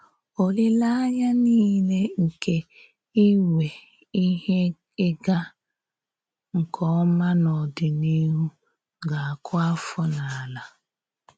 Òlílèànyà nile nke ínwè íhè ịgà nke òmá n’ọ́dị̀níhù gà-àkụ̀ àfọ̀ n’àlà.